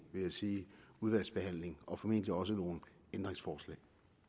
udvalgsbehandling og formentlig også nogle ændringsforslag